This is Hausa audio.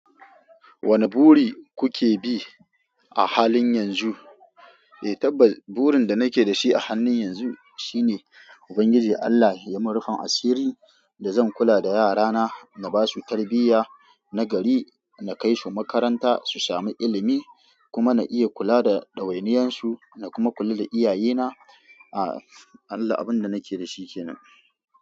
Wane buri kuke bi a halin yanzu? Eh, tabbas burin da nake da shi a hannun yanzu shine Ubangiji Allah ya min rufin asiri da zan kula da yarana, na basu tarbiyya na gari, na kai su makaranta su sami ilimi kuma na iya kula da ɗawainiyarsu na kuma kula da iyayena. A Allah abin da nake da shi kenan.